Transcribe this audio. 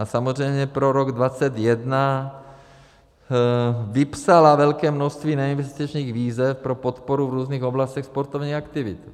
A samozřejmě pro rok 2021 vypsala velké množství neinvestičních výzev pro podporu v různých oblastech sportovní aktivity.